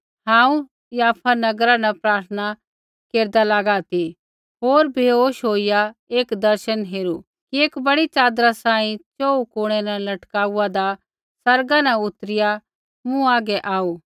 हांऊँ याफा नगरा न प्रार्थना केरदा लागा ती होर बैहोश होईया एक दर्शन हेरू कि एक बड़ी च़ादरी सांही च़ोहू कुणै न लटकाउआदा आसमाना न उतरिआ मूँ हागै आऊ